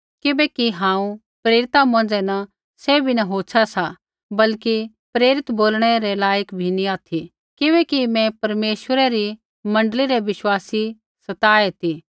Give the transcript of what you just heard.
किबैकि हांऊँ प्रेरिता मौंझ़ै न सैभी न होछ़ा सा बल्कि प्रेरित बोलणै रै लाईक भी नी ऑथि किबैकि मैं परमेश्वरै री मण्डली रै विश्वासी सताए ती